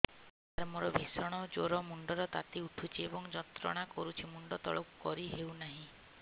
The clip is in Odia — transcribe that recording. ସାର ମୋର ଭୀଷଣ ଜ୍ଵର ମୁଣ୍ଡ ର ତାତି ଉଠୁଛି ଏବଂ ଯନ୍ତ୍ରଣା କରୁଛି ମୁଣ୍ଡ ତଳକୁ କରି ହେଉନାହିଁ